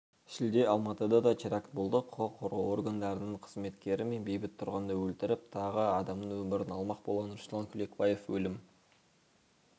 шілде алматыда да теракт болды құқық қорғау органдарының қызметкері мен бейбіт тұрғынды өлтіріп тағы адамның өмірін алмақ болған руслан кулекбаев өлім